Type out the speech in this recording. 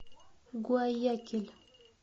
гуаякиль